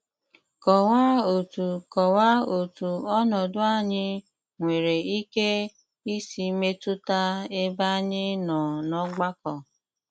Kọ̀wàà òtù Kọ̀wàà òtù ònòdù ànyị̀ nwere ìkè ìsì mètùtà èbé ànyị̀ nọ n'ọ̀gbàkọ.